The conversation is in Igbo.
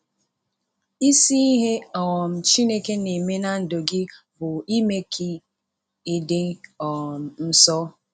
Isi ihe um Chineke na-eme ná ndụ gị bụ ime ka ime ka ị dị um nsọ.